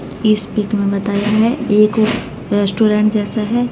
इस पिक में बताया है एक रेस्टोरेंट जैसा है।